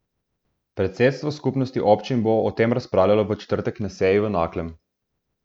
Predsedstvo Skupnosti občin Slovenije bo o tem razpravljalo v četrtek na seji v Naklem.